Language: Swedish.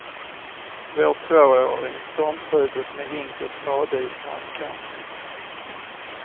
Vår tvååring stormtrivdes med hink och spade i strandkanten.